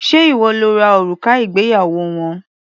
Ṣé ìwọ lo ra òrùka ìgbéyàwó wọn?